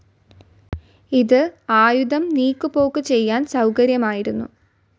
ഇത് ആയുധം നീക്കുപോക്കു ചെയ്യാൻ സൗകര്യമായിരുന്നു.